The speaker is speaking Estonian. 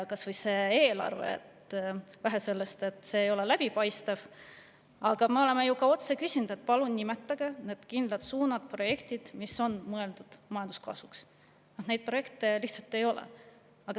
Kas või see eelarve: vähe sellest, et see ei ole läbipaistev, me oleme ju ka otse küsinud, et palun nimetage need kindlad suunad ja projektid, mis on mõeldud majanduskasvu, aga neid projekte lihtsalt ei ole.